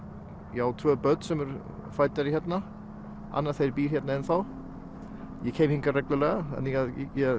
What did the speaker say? ég á tvö börn sem fædd eru hérna annað þeirra býr hérna ennþá ég kem hingað reglulega þannig að